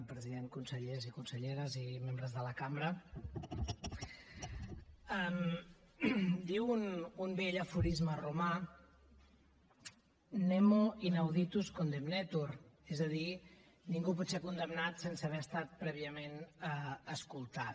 president consellers i conselleres i membres de la cambra diu un vell aforisme romà nemo inauditus condemneturpot ser condemnat sense haver estat prèviament escoltat